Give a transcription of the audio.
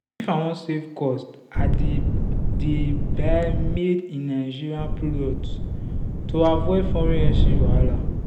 if i wan save cost i dey dey buy made-in-nigeria products to avoid foreign exchange wahala.